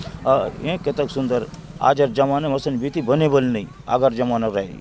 अरे कतेक सुन्दर आज़ार जमाना बीसी बिनि बन रही अगर जमाना रही --